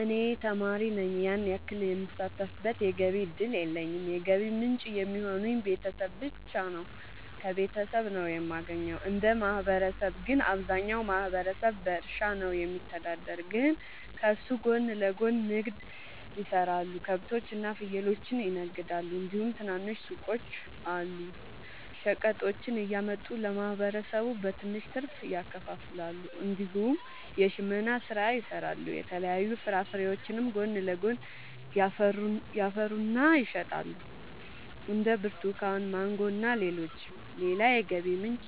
እኔ ተማሪ ነኝ ያን ያክል የምሳተፍበት የገቢ እድል የለኝም የገቢ ምንጭ የሚሆኑኝ ቤተሰብ ብቻ ነው። ከቤተሰብ ነው የማገኘው። እንደ ማህበረሰብ ግን አብዛኛው ማህበረሰብ በእርሻ ነው የሚተዳደር ግን ከሱ ጎን ለጎን ንግድ የሰራሉ ከብቶች እና ፍየሎችን ይነግዳሉ እንዲሁም ትናንሽ ሱቆች አሉ። ሸቀጦችን እያመጡ ለማህበረሰቡ በትንሽ ትርፍ ያከፋፍላሉ። እንዲሁም የሽመና ስራ ይሰራሉ የተለያዩ ፍራፍሬዎችንም ጎን ለጎን ያፈሩና ይሸጣሉ እንደ ብርቱካን ማንጎ እና ሌሎችም። ሌላ የገቢ ምንጭ